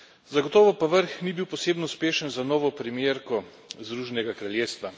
Zagotovo pa vrh ni bil posebno uspešen za novo premierko Združenega kraljestva.